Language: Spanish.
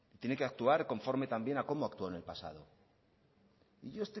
tiene que actuar conforme también a cómo actuó en el pasado